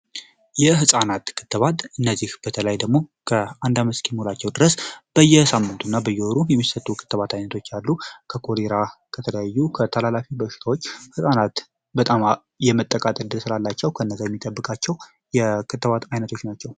የህፃናት ክትባት እነዚህ በተለይ ደግሞ አንድ እስኪሞላቸው ድረስ በየሳምንቱ እና በየወሩ የሚሰጡ የክትባት አይነቶች አሉ። ከኮሌራ ከተለያዩ ከተላላፊ በሽታዎች ህጻናትን በጣም የሚጠብቃቸው የክትባት አይነቶች ናቸው።